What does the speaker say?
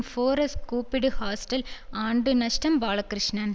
four s கூப்பிடு hostel ஆண்டு நஷ்டம் பாலகிருஷ்ணன்